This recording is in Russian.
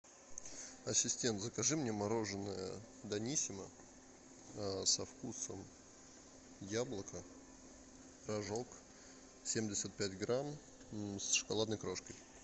ассистент закажи мне мороженое даниссимо со вкусом яблока рожок семьдесят пять грамм с шоколадной крошкой